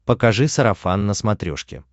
покажи сарафан на смотрешке